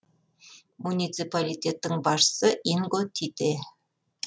муниципалитеттің басшысы инго тите